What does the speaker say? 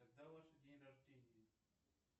когда ваше день рождения